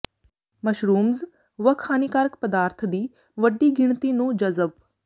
mushrooms ਵੱਖ ਹਾਨੀਕਾਰਕ ਪਦਾਰਥ ਦੀ ਵੱਡੀ ਗਿਣਤੀ ਨੂੰ ਜਜ਼ਬ